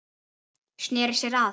Sneri sér að